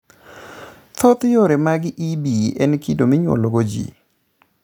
Thoth yore mag EB en kido monyuolwago ji.